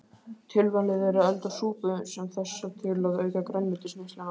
Tilvalið er að elda súpu sem þessa til að auka grænmetisneysluna.